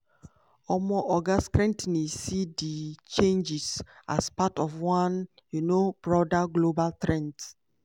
um oga skrentny see di changes as part of one um broader global trend.